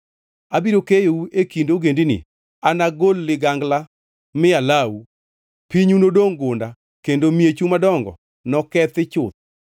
Abiro keyou e kind ogendini, anagol ligangla mi alawu. Pinyu nodongʼ gunda, kendo miechu madongo nokethi chuth.